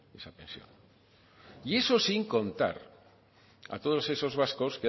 esa pensión y eso sin contar a todos esos vascos